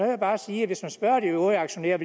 jeg bare sige at hvis man spørger de øvrige aktionærer